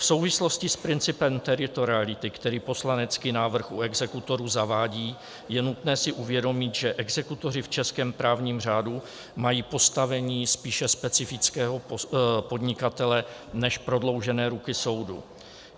V souvislosti s principem teritoriality, který poslanecký návrh u exekutorů zavádí, je nutné si uvědomit, že exekutoři v českém právním řádu mají postavení spíše specifického podnikatele než prodloužené ruky soudu.